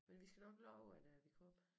Men vi skal nok love at øh vi kommer